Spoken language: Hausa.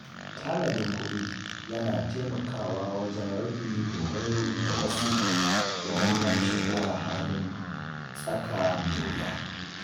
Tanadin kuɗi yana taimakawa wajen rage dogaro da wasu idan an shiga halin tsaka mai wuya.